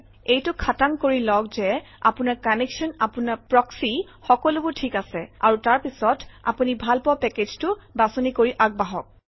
এইটো খাতাং কৰি লওক যে আপোনাৰ কানেক্সন আপোনাৰ প্ৰক্সী - সকলোবোৰ ঠিকে আছে আৰু তাৰপিছত আপুনি ভালপোৱা পেকেজটো বাছনি কৰি আগবাঢ়ক